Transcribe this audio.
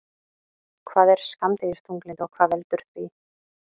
Hvað er skammdegisþunglyndi og hvað veldur því?